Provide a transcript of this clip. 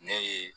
Ne ye